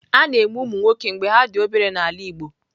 A na-eme ụmụ nwoke mgbe ha dị obere n'ala Igbo.